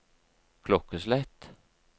klokkeslett